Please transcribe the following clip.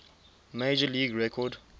major league record